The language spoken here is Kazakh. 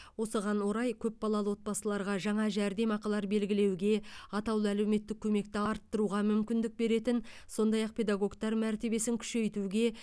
осыған орай көпбалалы отбасыларға жаңа жәрдемақылар белгілеуге атаулы әлеуметтік көмекті арттыруға мүмкіндік беретін сондай ақ педагогтар мәртебесін күшейтуге